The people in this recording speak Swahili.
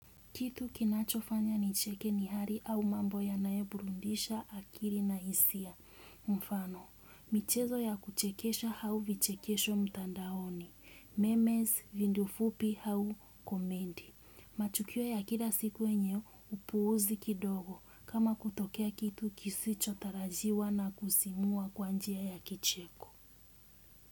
Kitu kinachofanya nicheke ni hali au mambo yanayoburudisha, akili na hisia. Mfano, michezo ya kuchekesha au vichekesho mtandaoni. Memes, video fupi au komedi. Matukio ya kila siku yenye, upuuzi kidogo. Kama kutokea kitu kisichotarajiwa na kusisimua kwa njia ya kicheko.